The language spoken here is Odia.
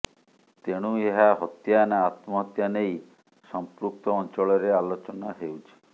ତେଣୁ ଏହା ହତ୍ୟା ନାଁ ଆତ୍ମହତ୍ୟା ନେଇ ସଂପୃକ୍ତ ଅଞ୍ଚଳରେ ଆଲୋଚନା ହେଉଛି